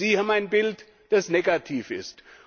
Sie haben ein Bild, das negativ ist.